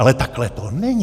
Ale takhle to není.